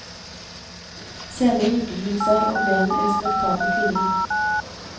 Senere giftet hun seg og ble en respektabel kvinne.